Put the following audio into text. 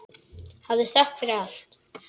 hafðu þökk fyrir allt.